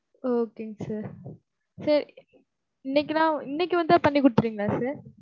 Okay ங்க sir sir இன்னைக்கு தான், இன்னைக்கு வந்தா பண்ணி குடுத்திருவீங்களா sir?